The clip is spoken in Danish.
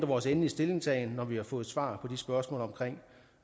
vores endelige stillingtagen til vi har fået svar på de spørgsmål omkring